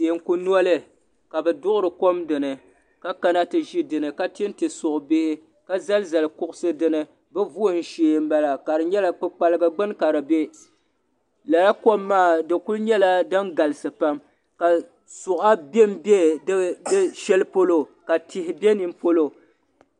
Teeku noli ka bɛ duɣiri kom dini ka kana ti ʒi dini ka tinti suɣubihi ka zali zali kuɣusi dini bɛ vuhim shee m-bala ka di nyɛla kpukpaliga gbuni ka di be lala kom maa di kuli nyɛla din galisi pam ka suɣa bembe di shɛli polo ka tihi be ni polo.